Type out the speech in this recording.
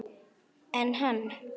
En hann?